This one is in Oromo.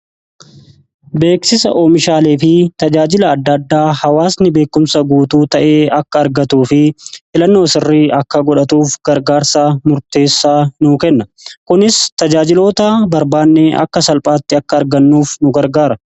Beeksisa oomishaalee fi tajaajila addaaddaa hawaasni beekumsa guutuu ta'ee akka argatuu fi filannoo sirrii akka godhatuuf gargaarsaa murteessaa nu kenna kunis tajaajiloota barbaannee akka salphaatti akka argannuuf nu gargaara.